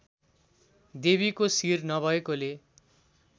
देवीको शिर नभएकोले